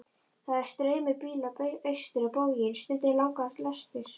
Það er straumur bíla austur á bóginn, stundum langar lestir.